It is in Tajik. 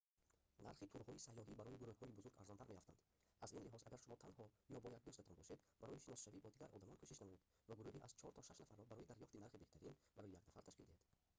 нархи турҳои сайёҳӣ барои гурӯҳҳои бузург арзонтар меафтанд аз ин лиҳоз агар шумо танҳо ё бо як дӯстатон бошед барои шиносшавӣ бо дигар одамон кӯшиш намоед ва гурӯҳи аз чор то шаш нафарро барои дарёфти нархи беҳтарин барои як нафар ташкил диҳед